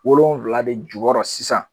Wolonwula de jukɔrɔ sisan.